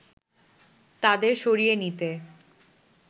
তাদের সরিয়ে নিতে